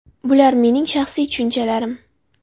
Bular mening shaxsiy tushunchalarim.